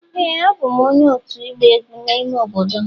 Ee a bụ m onye otu igba egwu n'ime obodo m.